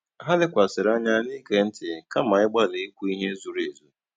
Ha lèkwàsị̀rị́ ànyá n'ìgé ntị́ kàma ị̀gbálì ìkwú ihe zùrù èzù.